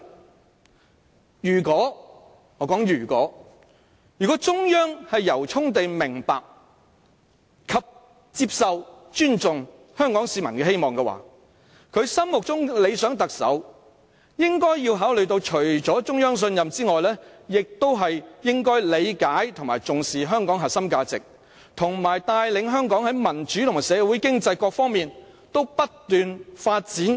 我說如果，如果中央政府由衷地明白、接受，以及尊重香港市民的期望的話，它心目中的理想特首除了應該獲得中央信任外，亦應要理解和重視香港的核心價值，以及能夠帶領香港市民和社會經濟在各方面不斷發展。